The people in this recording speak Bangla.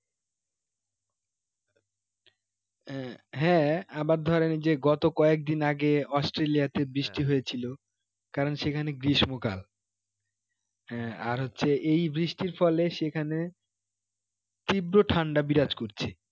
এর হ্যাঁ আবার ধরেন যে গত কয়েকদিন আগে australia তে বৃষ্টি হয়েছিল কারণ সেখানে গ্রীষ্ম কাল এর আর হচ্ছে এই বৃষ্টির ফলে সেখানে তীব্র ঠান্ডা বিরাজ করছে